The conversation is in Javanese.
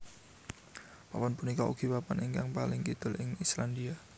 Papan punika ugi papan ingkang paling kidul ing Islandia